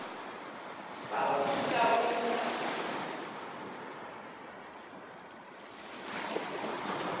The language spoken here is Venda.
vha o thusa u bva